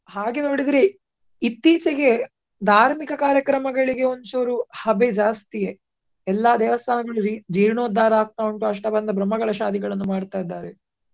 ಹಾಗೆ ನೋಡಿದ್ರೆ ಇತ್ತೀಚೆಗೆ ಧಾರ್ಮಿಕ ಕಾರ್ಯಕ್ರಮಗಳಿಗೆ ಒಂಚೂರು ಹಬೆ ಜಾಸ್ತಿಯೇ. ಎಲ್ಲಾ ದೇವಾಸ್ಥನಗಳಲ್ಲಿ ಜೀರ್ಣೋಧಾರ ಆಗ್ತಾ ಉಂಟು ಅಷ್ಟಬಂಧ ಬ್ರಹ್ಮಕಲಾಶಾಧಿಗಳನ್ನು ಮಾಡ್ತಾ ಇದ್ದಾರೆ.